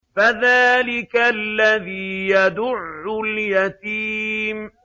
فَذَٰلِكَ الَّذِي يَدُعُّ الْيَتِيمَ